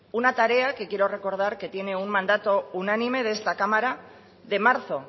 una tarea que quiero recordar que tiene un mandato unánime de esta cámara de marzo